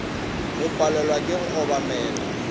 go palelwa ke go obamela